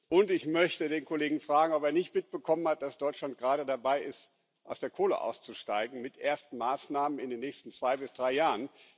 Und ich möchte den Kollegen fragen, ob er nicht mitbekommen hat, dass Deutschland gerade dabei ist, aus der Kohle auszusteigen mit ersten Maßnahmen in den nächsten zwei bis drei Jahren.